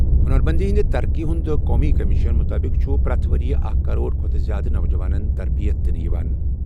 ہنرمندی کی ترقی کے قومی کمیشن کے تحت ہر سال ایک کروڑ سے زیادہ نوجوانوں کو تربیت دی جاتی ہے ۔